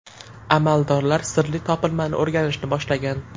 Amaldorlar sirli topilmani o‘rganishni boshlagan.